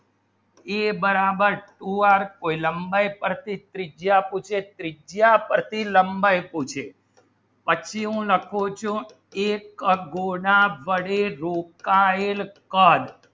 a બરાબર two r કોઈ લંબાઈ પછી ત્રીજા પૂછે ત્રીજા પછી લંબાઈ પૂછે પછી લખ્યું નાખું છું એક ગુના બાળી દુકાયેલ કર